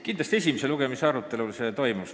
Kindlasti esimese lugemise arutelul see toimus.